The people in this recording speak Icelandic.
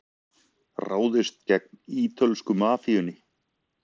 Ráðist gegn ítölsku mafíunni